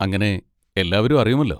അങ്ങനെ എല്ലാവരും അറിയുമല്ലോ.